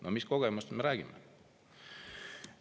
No mis kogemusest me räägime!